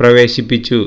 പ്രവേശിപ്പിച്ചു